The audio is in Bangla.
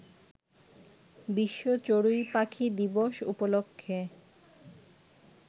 বিশ্ব চড়ুই পাখি দিবস উপলক্ষে